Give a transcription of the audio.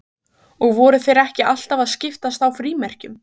Og voru þeir ekki alltaf að skiptast á frímerkjum?